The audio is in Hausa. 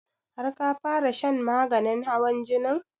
Har ka fara shan maganin hawan jinin?